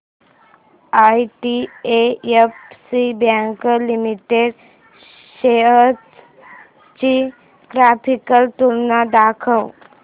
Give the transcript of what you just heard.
IDFC bank limited shares ची graphical तुलना दाखव